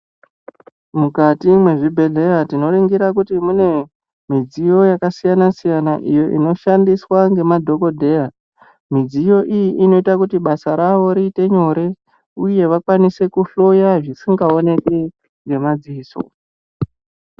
Mukati mwe zvibhedhlera tino ningira kuti mune midziyo yaka siyana siyana iyo ino shandiswa nge madhokodheya midziyo iyi inoita kuti basa ravo riite nyore uye vakwanise ku hloya zvisinga oneki nge madziso.